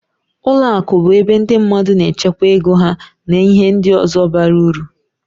Ụlọ akụ bụ ebe ndị mmadụ na-echekwa ego ha na ihe ndị ọzọ bara ụrụ.